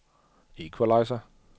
equalizer